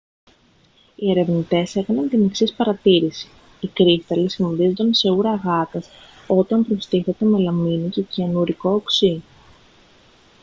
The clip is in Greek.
οι ερευνητές έκαναν την εξής παρατήρηση οι κρύσταλλοι σχηματίζονταν σε ούρα γάτας όταν προστίθετο μελαμίνη και κυανουρικό οξύ